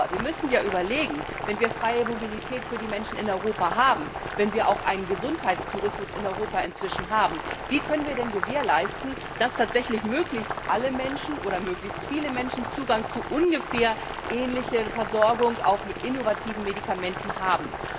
Nur, wir müssen ja überlegen, wenn wir freie Mobilität für die Menschen in Europa haben, wenn wir inzwischen auch einen Gesundheitstourismus in Europa haben Wie können wir denn gewährleisten, dass tatsächlich möglichst alle Menschen, oder möglichst viele Menschen, Zugang zu ungefähr ähnlicher Versorgung auch mit innovativen Medikamenten haben?